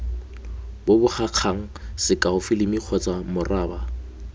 bobegakgang sekao filimi kgotsa moraba